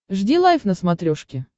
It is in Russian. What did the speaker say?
жди лайв на смотрешке